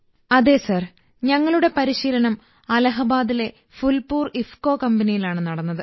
അതെ സർ ഞങ്ങളുടെ പരിശീലനം അലഹബാദിലെ ഫുൽപൂർ ഇഫ്കോ കമ്പനിയിലാണ് നടന്നത്